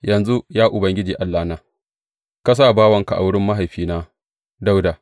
Yanzu, ya Ubangiji Allahna, ka sa bawanka a wurin mahaifina Dawuda.